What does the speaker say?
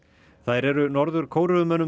þær eru Norður